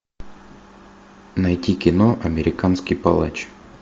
найти кино американский палач